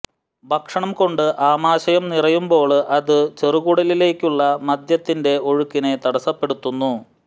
ഭക്ഷണം കൊണ്ട് ആമാശയം നിറയുമ്പോള് അത് ചെറുകു ടലിലേക്കുള്ള മദ്യത്തിന്റെ ഒഴുക്കിനെ തടസ്സപ്പെടുത്തുന്നു